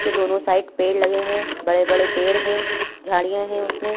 के दोनों साइड पेड़ लगे है। बड़े-बड़े पेड़ है। झाड़िया है उसमे।